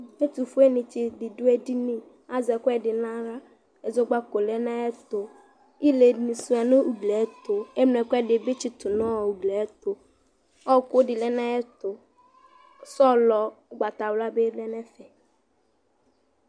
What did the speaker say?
Ɛtʋƒue nɩ tsɩ ɖɩ ɖʋ eɖini ,azɛ ɛƙʋɛ nʋ aɣlaƐzɔƙpaƙoe lɛ nʋ aƴɛtʋIle nɩ sʋɩa nʋ ugli ƴɛ tʋ,eŋlo ɛƙʋɛɖɩ bɩ tsɩtʋ nɔr ugli ɛtʋƆƙʋ ɖɩ lɛ nʋ aƴɛtʋ ,sɔlɔ ʋgbatawla bɩ lɛ n' ɛƒɛ